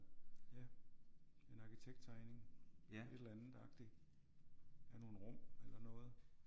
Ja en arkitekttegning et eller andet agtigt. Af nogle rum eller noget